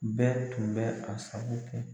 Bɛɛ tun bɛ a sago kɛ.